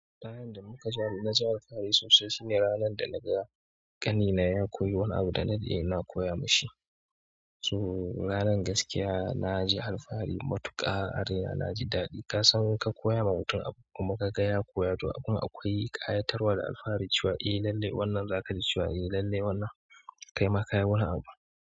Ɗayan da muka ja na ji alfahari sosai shine ranan da naga ƙanina ya koyi wani abu da na ɗade ina koya mashi. So ranar gaskiya naji alfahari matuƙa a raina, na ji daɗi. Ka san in ka koya ma utum abu kuma ka ga ya koya to abun akwai ƙayatarwa da alfahari cewa eh lallai wannan zaka ji cewa eh lallai wannan. Kai ma ka yi wani abu.